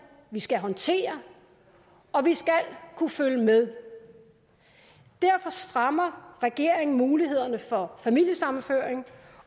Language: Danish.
vi skal håndtere og vi skal kunne følge med derfor strammer regeringen mulighederne for familiesammenføring